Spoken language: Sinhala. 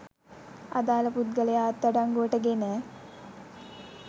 අදාළ පුද්ගලයා අත්අඩංගුවට ගෙන